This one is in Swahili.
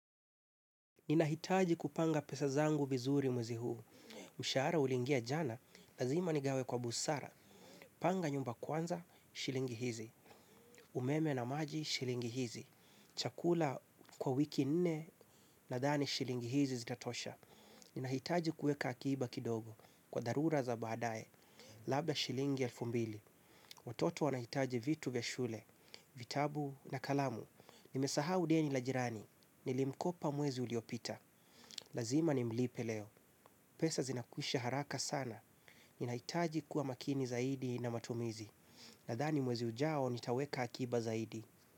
Ninahitaji kupanga pesazangu vizuri mwezi huu. Mshahara ulingia jana, lazima nigawe kwa busara. Panga nyumba kwanza, shilingi hizi. Umeme na maji, shilingi hizi. Chakula kwa wiki nne, nadhani shilingi hizi zitatosha. Ninahitaji kueka akiba kidogo, kwa dharura za baadae. Labda shilingi elfu mbili. Watoto wanahitaji vitu vya shule, vitabu na kalamu. Nimesahau deni la jirani. Nilimkopa mwezi uliopita. Lazima nimlipe leo. Pesa zinakwisha haraka sana. Ninahitaji kuwa makini zaidi na matumizi. Nadhani mwezi ujao nitaweka akiba zaidi.